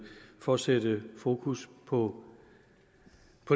for at sætte fokus på